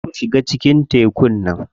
Kar ku shiga cikin tekun nan.